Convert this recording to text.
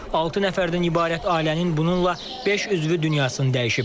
Altı nəfərdən ibarət ailənin bununla beş üzvü dünyasını dəyişib.